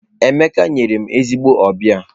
Emeka nyere m ezigbo ọbịa.